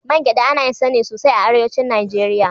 Man gyaɗa ana yin sa ne sosai a Arewacin Najeriya.